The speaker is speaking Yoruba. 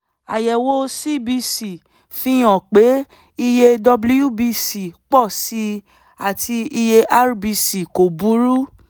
àyẹ̀wò cbc fi hàn pé iye wbc pọ̀ sí i àti iye rbc kò burú